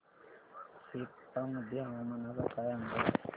सेप्पा मध्ये हवामानाचा काय अंदाज आहे